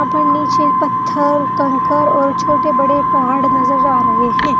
पर नीचे पत्थर कंकर और छोटे बड़े पहाड़ नजर आ रहे हैं।